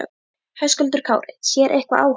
Höskuldur Kári: Sér eitthvað á honum?